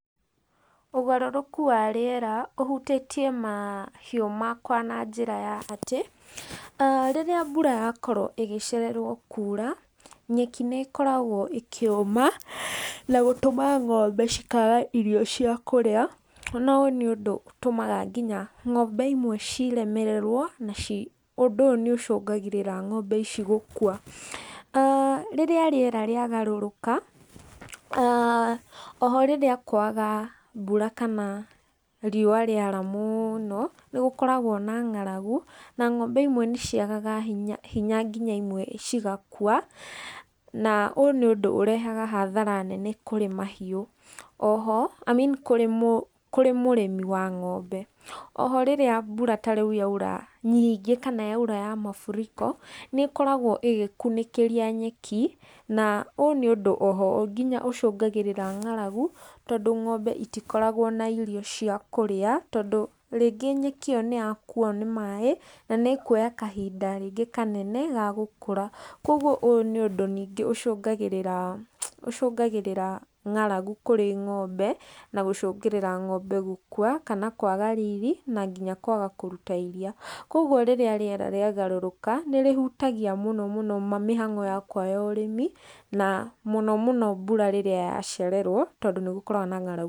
Ũgarũrũku wa rĩera ũhutĩtie mahiũ makwa na njĩra ya atĩ, rĩrĩa mbura yakorwo ĩgĩcererwo kuura, nyeki nĩ ĩkoragwo ĩkĩũma, na gũtũma ng'ombe ikaga irio cia kũrĩa, na ũyũ nĩ ũndũ ũtũmaga nginya ng'ombe imwe ciremererwo, na ci ũndũ ũyũ nĩ ũcũngagĩrĩra ng'ombe ici gũkua. Rĩrĩa rĩera rĩagarũrũka, oho rĩrĩa kwaga mbura kana riũa rĩara mũno, nĩ gũkoragwo na ng'aragu, na ng'ombe imwe nĩ ciagaga hinya nginya imwe cigakua, naũyũ nĩ ũndũ ũrehaga hathara nene kũrĩ mahiũ, oho i mean kũrĩ kũrĩ mũrĩmi wa ng'ombe. Oho rĩrĩa mbura ta rĩu yaura nyingĩ kana yaura ya mafuriko, nĩ ĩkoragwo ĩgĩkunĩkĩria nyeki, na ũyũ nĩ ũndũ oho nginya ũcũngagĩrĩria ng'aragu, tondũ ng'ombe itikoragwo na irio cia kũrĩa, tondũ rĩngĩ nyeki ĩyo nĩ yakuo nĩ maĩ, na nĩ ĩkuoya kahinda rĩngĩ kanene ga gũkũra. Koguo ũyũ nĩ ũndũ ningĩ ũcũngagĩrĩra ũcũngagĩrĩra ng'aragu kũrĩ ng'ombe na gũcũngĩrĩra ng'ombe gũkua kana kwaga riri, na nginya kwaga kũruta iriia. Koguo rĩrĩa rĩera rĩagarũrũka, nĩ rĩhutagia mũno mũno mĩhang'o yakwa ya ũrĩmi na na mũno mũno mbura rĩrĩa yacererwo tondũ nĩ gũkoragwo na ng'aragu.